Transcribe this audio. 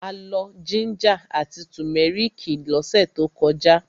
A lọ jíńjà àti tùmẹ́rìkì lọ́sẹ̀ tó kọjá.